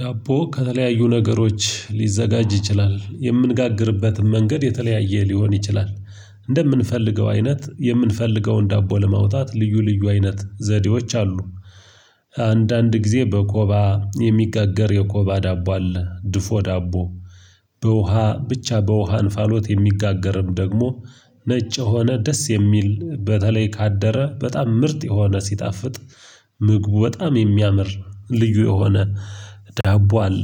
ዳቦ ከተለያዩ ነገሮች ሊዘጋጅ ይችላል የምንጋግርበትን መንገድ የተለያየ ሊሆን ይችላል እንደምንፈልገው አይነት የምንፈልገውን ዳቦ ለማውጣት ልዩ ልዩ አይነት ዘዴዎች አሉ። አንዳንድ ጊዜ በኮባ የሚጋገር የኮባ ዳቦ አለ ድፎ ዳቦ። በውሃ ብቻ በውሃ እንፋሎት የሚጋገርም ደግሞ። ነጭ የሆነ ደስ የሚል በተለይ ካደረ በጣም ምርጥ የሆነ ሲጣፍጥ። ምግቡ በጣም የሚያምር ልዩ የሆነ ዳቦ አለ።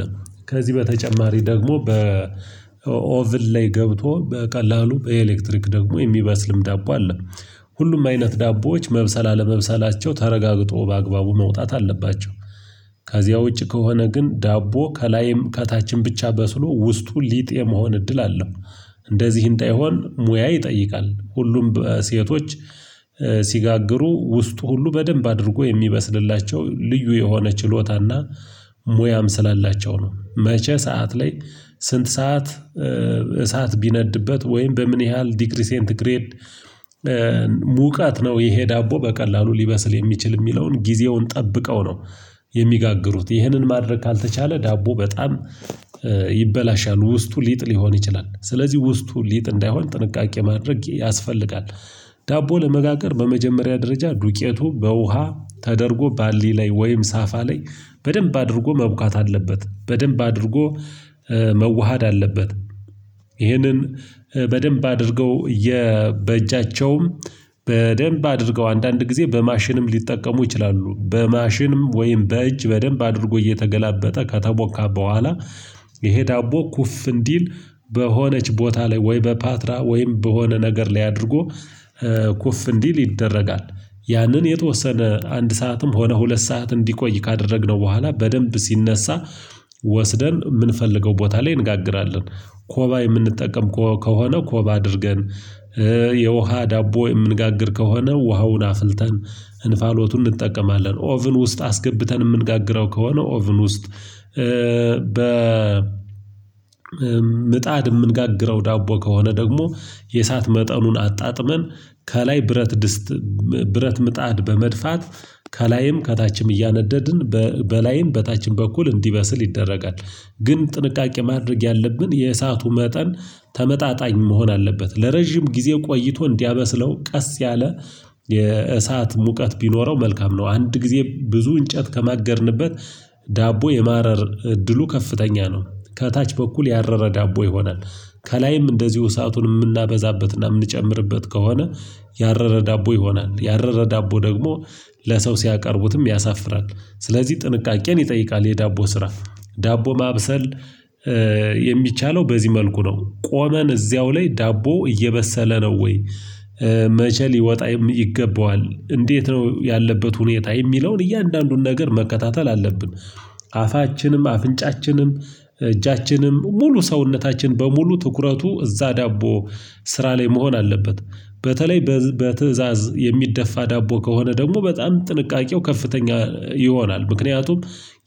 ከዚህ በተጨማሪ ደግሞ በኦቭል ላይ ገብቶ በቀላሉ በኤሌክትሪክ ደግሞ የሚበስልም ዳቦ አለ። ሁሉም አይነት ዳቦዎች መብሰላ አለመብሰላቸው ተረጋግጦ በአግባቡ መውጣት አለባቸው። ከዚያ ውጪ ከሆነ ግን ዳቦ ከላይም ከታችን ብቻ በስሎ ውስጡን ሊጥ የመሆን እድል አለው። እንደዚህ እንዳይሆን ሙያ ይጠይቃል ሁሉም ሴቶች ሲጋግሩ ውስጡ ሁሉ በደንብ አድርጎ የሚበስልላቸው ልዩ የሆነ ችሎታ እና ሞያም ስላላቸው ነው። መቼ ሰዓት ላይ ስንት ሰዓት እሳት ቢነድበት ወይም በምን ያህል ዲግሪ ሴንት ግሬድ? ሙቃት ነው ይሄ ዳቦ በቀላሉ ሊበስል የሚችል የሚለውን ጊዜውን ጠብቀው ነው። የሚጋግሩት ይህንን ማድረግ ካልተቻለ ዳቦ በጣም ይበላሻሉ ውስጡ ሊጥል ሊሆን ይችላል። ስለዚህ ውስጡ ሊጥ እንዳይሆን ጥንቃቄ ማድረግ ያስፈልጋል። ዳቦ ለመጋገር በመጀመሪያ ደረጃ ዱቄቱ በውሃ ተደርጎ ባሊ ላይ ወይም ሳፋ ላይ በደንብ አድርጎ መቡካት አለበት በደንብ አድርጎ መዋሃድ አለበት። ይህንን በደንብ አድርገው በእጃቸውም በደንብ አድርገው አንዳንድ ጊዜ በማሽንም ሊጠቀሙ ይችላሉ በማሽንም ወይም በእጅ በደንብ አድርጎ እየተገላበጠ ከተሞካ በኋላ ይሄ ዳቦ ኩፍ እንዲል በሆነች ቦታ ላይ ወይ በፓትራ ወይም በሆነ ነገር ላይ አድርጎ ኩፍ እንዲል ይደረጋል። ያንን የተወሰነ አንድ ሰዓትም ሆነ ሁለት ሰዓት እንዲቆይ ካደረግነው በኋላ በደንብ ሲነሳ ወስደን የምንፈልገው ቦታ ላይ እንጋግራለን። ኮባ የምንጠቀም ከሆነ ኮባ አድርገን የውሃ ዳቦ የምንጋግር ከሆነ ውሃውን አፍልተን እንፋሎቱን እንጠቀማለን ኦቭን ውስጥ አስገብተን የምንጋግረው ከሆነ ኦቭን ውስጥ። በ ምጣድ የምንጋግረው ዳቦ ከሆነ ደግሞ የእሳት መጠኑን አጣጥመን ከላይ ብረት ድስት ብረት ምጣድ በመድፋት ከላይም ከታችም እያነደድን በላይም በታችም በኩል እንዲበስል ይደረጋል። ግን ጥንቃቄ ማድረግ ያለብን የእሳቱ መጠን ተመጣጣኝ መሆን አለበት ለረጅም ጊዜ ቆይቶ እንዲያመስለው ቀስ ያለ የእሳት ሙቀት ቢኖረው መልካም ነው። አንድ ጊዜ ብዙ እንጨት ከማገድንበት ዳቦ የማረር እድሉ ከፍተኛ ነው። ከታች በኩል ያረረ ዳቦ ይሆናል። ከላይም እንደዚሁ እሳቱን የምናበዛበትና የምንጨምርበት ከሆነ ያረረ ዳቦ ይሆናል። ያረረ ዳቦ ደግሞ ለሰው ሲያቀርቡትም ያሳፍራል። ስለዚህ ጥንቃቄን ይጠይቃል የዳቦ ስራ ዳቦ ማብሰል የሚቻለው በዚህ መልኩ ነው። ቆመን እዚያው ላይ ዳቦ እየበሰለ ነው ወይ? መቼ ሊወጣ ይገባዋል እንዴት ነው ያለበት ሁኔታ የሚለውን እያንዳንዱን ነገር መከታተል አለብን። አፋችንም አፍንጫችንም እጃችንም ሙሉ ሰውነታችን በሙሉ ትኩረቱ እዛ ዳቦ ስራ ላይ መሆን አለበት። በተለይ በትእዛዝ የሚደፋ ዳቦ ከሆነ ደግሞ በጣም ጥንቃቄው ከፍተኛ ይሆናል። ምክንያቱም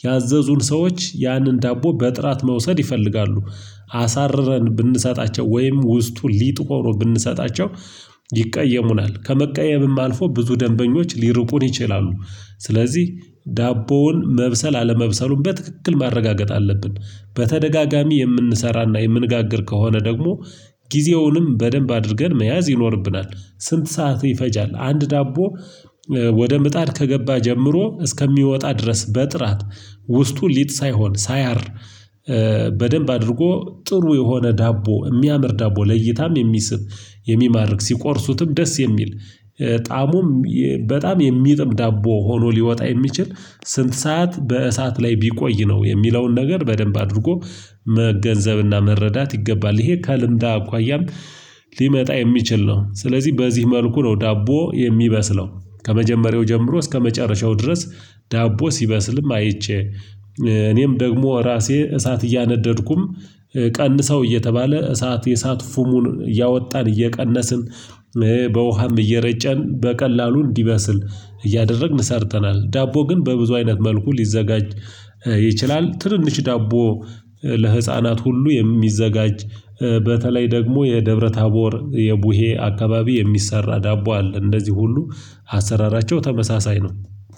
ያዘዙን ሰዎች ያንን ዳቦ በጥራት መውሰድ ይፈልጋሉ። አሳርረን ብንሰጣቸው ወይም ውስጡን ሊጥ ሆኖ ብንሰጣቸው ይቃየሙናል ከመቀየምም አልፎ ብዙ ደንበኞች ሊርቁን ይችላሉ። ስለዚህ ዳቦውን መብሰል አለመብሰሉን በትክክል ማረጋገጥ አለብን። በተደጋጋሚ የምንሰራና የምንጋግር ከሆነ ደግሞ ጊዜውንም በደንብ አድርገን መያዝ ይኖርብናል። ስንት ሰዓት ይፈጃል አንድ ዳቦ? ወደ ምጣድ ከገባ ጀምሮ እስከሚወጣ ድረስ በጥራት ውስጡ ሊጥ ሳይሆን ሳያር በደንብ አድርጎ ጥሩ የሆነ ዳቦ የሚያምር ዳቦ ለይታም የሚስብ የሚማርክ ሲቆርሱትም ደስ የሚል ጣእሙም በጣም የሚጥም ዳቦ ሆኖ ሊወጣ የሚችል። ስንት ሰዓት በእሳት ላይ ቢቆይ ነው? የሚለውን ነገር በደንብ አድርጎ መገንዘብና መረዳት ይገባል። ይሄ ከልምድ አኳያም ሊመጣ የሚችል ነው። ስለዚህ በዚህ መልኩ ነው ዳቦ የሚበስለው። ከመጀመሪያው ጀምሮ እስከመጨረሻው ድረስ ዳቦ ሲበስልም አይቼ እኔም ደግሞ ራሴ እሳት እያነደድኩም ቀንሰው እየተባለ እሳት የእሳት ፉሙን እያወጣን እየቀነስን በውሃም እየረጨን በቀላሉ እንዲበስል እያደረግን ሰርተናል ዳቦ ግን በብዙ አይነት መልኩ ሊዘጋጅ። ይችላል ትንንሽ ዳቦ ለህፃናት ሁሉ የሚዘጋጅ በተለይ ደግሞ የደብረ ታቦር የቡሄ አካባቢ የሚሰራ ዳቦ አለ። እንደዚህ ሁሉ አሰራራቸው ተመሳሳይ ነው።